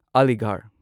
ꯑꯥꯂꯤꯒꯥꯔꯍ